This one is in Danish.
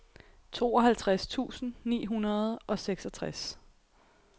tooghalvtreds tusind ni hundrede og seksogtres